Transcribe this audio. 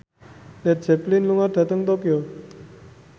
Led Zeppelin lunga dhateng Tokyo